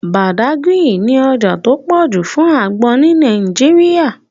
Badagry ní ọjà tó pọ̀ jù fún àgbọn ní Nàìjíríà